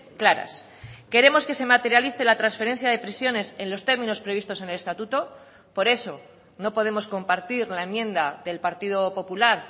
claras queremos que se materialice la transferencia de prisiones en los términos previstos en el estatuto por eso no podemos compartir la enmienda del partido popular